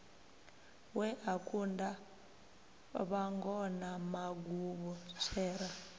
we a kunda vhangona maguvhutswera